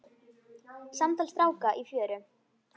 Samtal stráka í fjöru